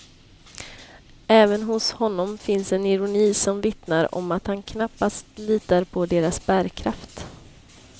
Även hos honom finns en ironi som vittnar om att han knappast litar på deras bärkraft.